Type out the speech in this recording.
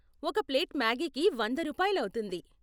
ఒక ప్లేట్ మాగీకి వంద రూపాయలు అవుతుంది